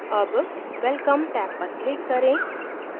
tab welcome tab पर click करें